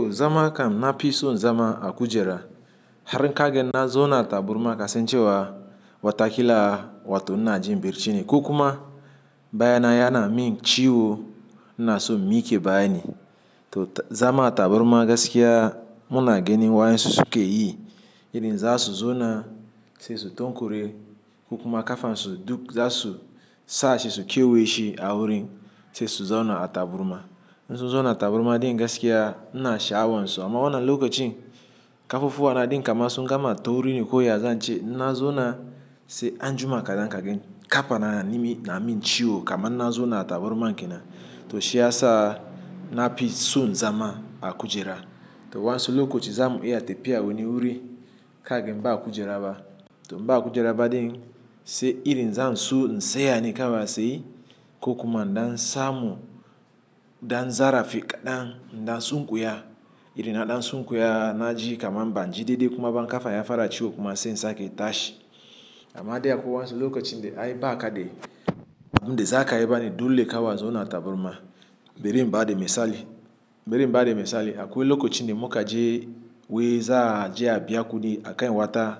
To zama kan na pi son zama a kujera. Har in kagan na zauna a taburma kasancewa watakila wato ina jin bacce ne. Ko kuma baya na yana min ciwo, ina son in mike bayi. To zama taburma gaskiya muna ginin wayansu suke yi, iri za su zauna sai su tonkure ko kuma kafan su duk za su sa shi su kewaye shi a wurin sai su zauna a taburma. In su zauna a taburma din gaskiya, ina sha'awan su. Amma wannan lokacin kafafuwa na din kama su gama tauri ne koya zan ce na zauna sai anjuma kaɗan kagan kafa na na min ciwo, kaman na zauna a taburman kenan. To shi ya sa nafi son zama a kujera. To wasu lokacin zamu iya tafiya wani wuri ka gen ba a kujera ba. To in ba kujera ba din sai iri na zan so in tsaya ne kawai a tsaye ko kuma in dan samu dan zarafi kaɗan in dan sunkuya. Irin na ɗan sunkuya na ji kamar ban ji daidai kuma ba kafan ya fara ciwo kuma sai in sake tashi. Amma dai akwai wasu lokacin da ai ba kaɗe, abunda za ka yi bane dole kawai a zauna a taburma. Bari in ba da misali, bari in ba da misali. Akwai lokacin da muka je wai za a je a biya kudi akan wata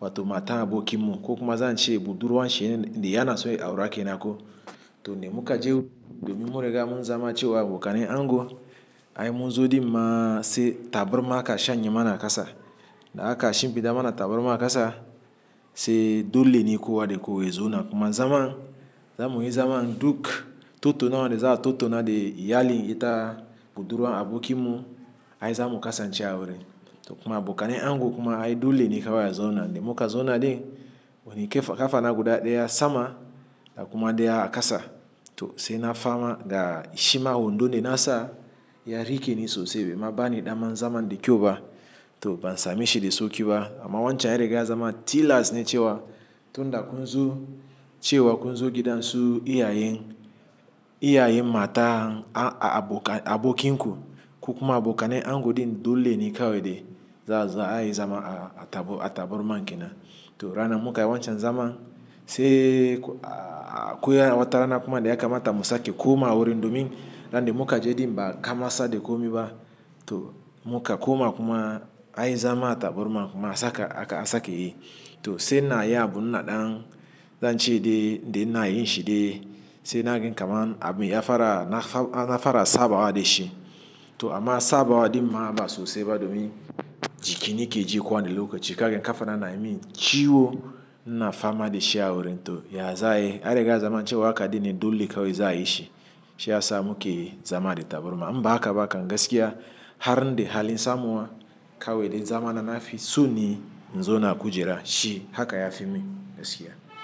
wato mata abokinmu ko kuma zan ce budurwan shi ne, da yana so ya aura kenan ko. To ne muka je domin mun riga mun zama cewa abokanen ango. Ai mun zo din ma sai taburma aka shanya mana a ƙasa. Da aka shimfiɗa mana taburma a ƙasa, sai dole ne kowa da kowa ya zauna kuma zaman. Zamuyi zama duk tattaunawa da za a tattauna da iyalin ita budurwan abokinmu ai zamu kasance a wurin. To kuma abokanen ango kuma ai dole ne kawai a zauna. Da muka zauna din wani kafana guda daya sama da kuma daya a ƙasa. To sai na fama ga shima wondun da nasa ya rike ni sosai. Baima bani ɗaman zaman da kyau ba to ban sameshi da sauki ba. Amma wancan ya rigarl zama tillas ne cewa tun da kun zo cewa kun zo gidan su iyayen, iyayen matan abokin ku. Ko kuma abokanen ango din dole ne kawai de za a yi zama a taburma kenan. To ranar mukayi wancan zama sai akwai wata rana kuma daya kamata musake kuma a wurin domin ran da muka je din ba kama sa da komi ba. To muka koma kuma ai zama taburma kuma aka sake yi. To sai ina yin abu na ɗan zan ce dai ne na yin shi dai. Sai nagan kamar abin ya fara, na fara sabawa da shi. To amma sabawa din ma ba sosai ba domin jikina yske ji kowanne lokacin kagan kafa na na yi min ciwo, ina fama da shi a wurin. To ya za ayi, an riga zaman cewa haka din ne dole kawai za a yi shi. Shi ya sa muke zama da taburma. In ba haka ba ka gaskiya har in da halin samuwa kawai dai zama na nafi so ni zauna a kujera shi haka ya fi min gaskiya.